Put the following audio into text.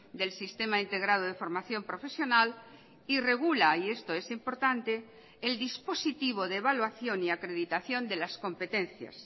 del sistema integrado de formación profesional y regula y esto es importante el dispositivo de evaluación y acreditación de las competencias